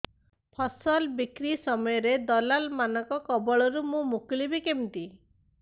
ଫସଲ ବିକ୍ରୀ ସମୟରେ ଦଲାଲ୍ ମାନଙ୍କ କବଳରୁ ମୁଁ ମୁକୁଳିଵି କେମିତି